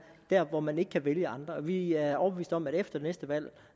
der hvor man ikke kan vælge andre vi er overbeviste om at efter næste valg